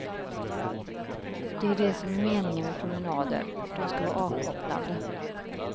Det är det som är meningen med promenader, de ska vara avkopplande.